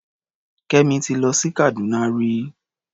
Kẹ́mi ti lọ sí Kàdúná rí.